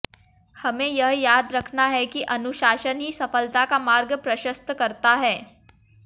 हमें यह याद रखना है कि अनुशासन ही सफलता का मार्ग प्रशस्त करता है